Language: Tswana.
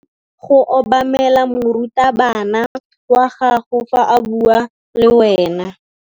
O tshwanetse go obamela morutabana wa gago fa a bua le wena.